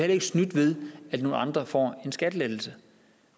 ikke snydt ved at nogle andre får en skattelettelse